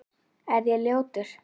Er ég ljótur?